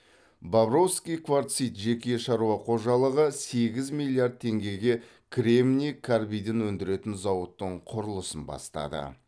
бобровский кварцит жеке шаруа қожалығы сегіз миллиард теңгеге кремний карбидін өндіретін зауыттың құрылысын бастады